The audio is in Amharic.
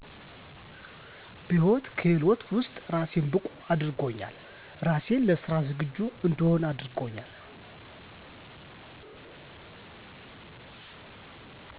በህይወት ክህሎት ውስጥ ራሴን ብቁ አድርጎኛል ራሴን ለስራ ዝግጁ እንድሆን አድርጎኛል